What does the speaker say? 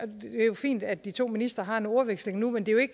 fint at de to ministre har en ordveksling nu men det